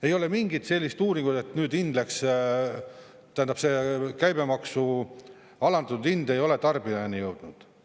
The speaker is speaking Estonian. Ei ole mingit sellist uuringut, et nüüd hind, tähendab, see käibemaksu alandatud hind ei ole tarbijani jõudnud.